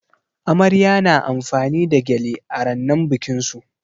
Amarya na amfani da gyale a rannan bikin su.